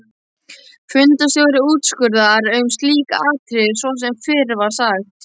Fundarstjóri úrskurðar um slík atriði svo sem fyrr var sagt.